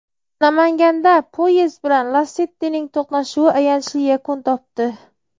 Namanganda poyezd bilan "Lasetti"ning to‘qnashuvi ayanchli yakun topdi.